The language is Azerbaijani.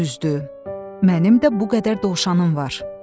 Düzdü, mənim də bu qədər dovşanım var.